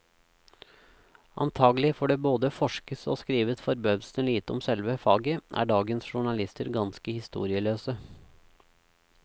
Antagelig fordi det både forskes og skrives forbausende lite om selve faget, er dagens journalister ganske historieløse.